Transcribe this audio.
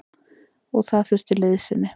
Og það þurfti liðsinni.